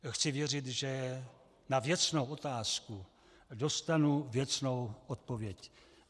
Chci věřit, že na věcnou otázku dostanu věcnou odpověď.